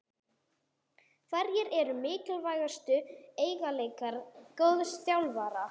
Hverjir eru mikilvægustu eiginleikar góðs þjálfara?